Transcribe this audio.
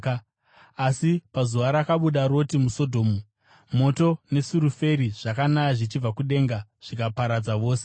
Asi pazuva rakabuda Roti muSodhomu, moto nesuriferi zvakanaya, zvichibva kudenga zvikavaparadza vose.